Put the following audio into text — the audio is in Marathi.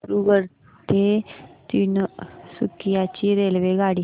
दिब्रुगढ ते तिनसुकिया ची रेल्वेगाडी